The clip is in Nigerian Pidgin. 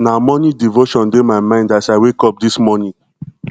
na morning devotion dey my mind as i wake up dis morning